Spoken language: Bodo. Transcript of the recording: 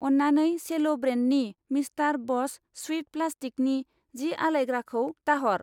अन्नानै सेल' ब्रेन्डनि मिस्टार बस स्विफ्ट प्लास्टिकनि जि आलायग्राखौ दाहर।